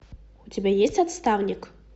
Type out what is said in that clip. у тебя есть отставник